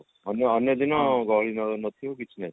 ଅନ୍ୟ ଅନ୍ୟ ଦିନ ଗହଳି ନଥିବ କିଛି ନଥିବ